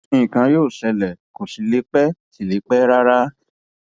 nǹkan yóò ṣẹlẹ kó sì lè pẹ lè pẹ rárá